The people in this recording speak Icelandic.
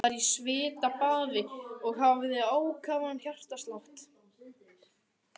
Hann var í svitabaði og hafði ákafan hjartslátt.